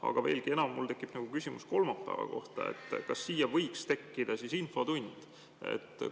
Aga veelgi enam tekib mul küsimus kolmapäeva kohta: kas sinna võiks tekkida siis infotund?